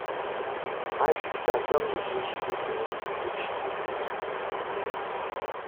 My sister tell me say she go finish the book she dey read today